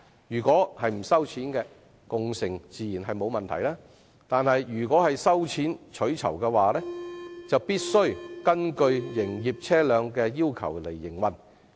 如果共乘不收費，當然沒有問題；但如果收費取酬，便須按照營業車輛的要求營運。